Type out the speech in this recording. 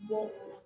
Bɔ